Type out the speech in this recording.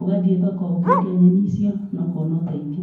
ũgathiĩ thoko, ũkendia nyeni icio, na ũkona ũteithio.